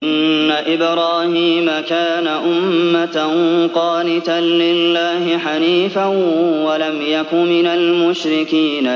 إِنَّ إِبْرَاهِيمَ كَانَ أُمَّةً قَانِتًا لِّلَّهِ حَنِيفًا وَلَمْ يَكُ مِنَ الْمُشْرِكِينَ